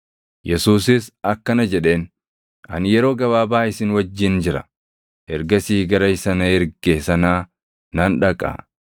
Yesuusis akkana jedheen; “Ani yeroo gabaabaa isin wajjin jira; ergasii gara isa na erge sanaa nan dhaqa.